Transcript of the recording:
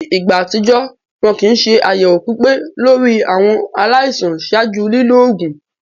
Ni igba atijọ, wọn kin ṣe ayẹwo pipe lori awọn alaisan ṣaaju lilo oogun.